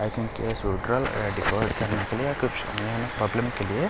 problem के लिये --